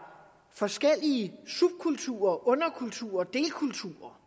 forskellige subkulturer underkulturer og delkulturer